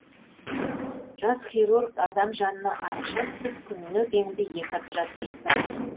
жас хирург адам жанына араша түсіп күніне кемінде екі операция жасайды